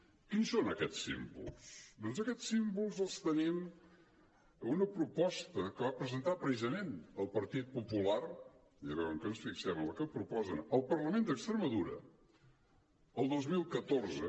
quins són aquests símbols doncs aquests símbols els tenim en una proposta que va presentar precisament el partit popular ja veuen que ens fixem en el que proposen al parlament d’extremadura el dos mil catorze